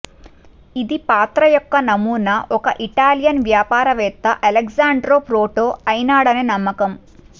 ఇది పాత్ర యొక్క నమూనా ఒక ఇటాలియన్ వ్యాపారవేత్త అలెశాండ్రో ప్రోటో అయినాడని నమ్మకం